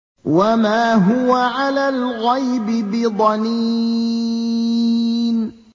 وَمَا هُوَ عَلَى الْغَيْبِ بِضَنِينٍ